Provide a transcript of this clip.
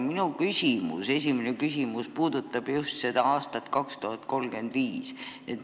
Minu esimene küsimus puudutab just seda aastat 2035.